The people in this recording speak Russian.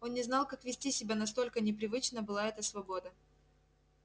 он не знал как вести себя настолько непривычна была эта свобода